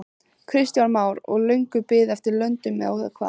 Kristján Már: Og löng bið eftir löndun eða hvað?